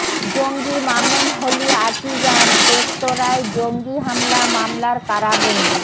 জঙ্গি মামুন Holey Artisan রেস্তোরাঁয় জঙ্গি হামলা মামলার কারাবন্দি